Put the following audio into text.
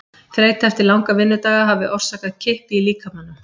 Þreyta eftir langa vinnudaga hafi orsakað kippi í líkamanum.